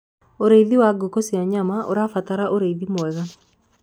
ũrĩithi wa ngũkũ cia nyama ũrabatara ũrĩithi mwega